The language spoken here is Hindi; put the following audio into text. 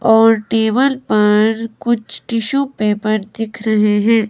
और टेबल पर कुछ टिशू पेपर दिख रहे हैं।